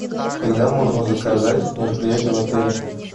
когда можно заказать мероприятие в отеле